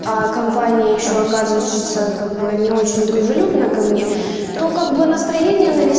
компания ещё оказывается как бы не очень дружелюбно ко мне то как бы настроение на весь ве